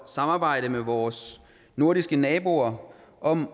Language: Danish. samarbejde med vores nordiske naboer om